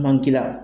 Manki la